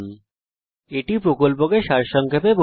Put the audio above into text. এটি কথ্য টিউটোরিয়াল প্রকল্পকে সংক্ষেপে বিবরণ করে